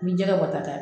Ni jɛgɛ bɔ ta